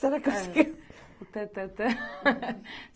Será que eu consigo? É o tan tan tan